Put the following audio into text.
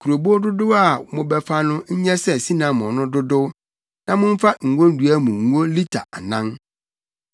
Kurobow dodow a mobɛfa no nyɛ sɛ sinamon no dodow na momfa ngodua mu ngo lita anan.